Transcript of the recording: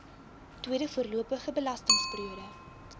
tweede voorlopige belastingperiode